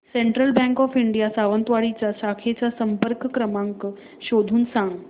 central Bank of India Sawantwadi च्या शाखेचा संपर्क क्रमांक शोधून सांग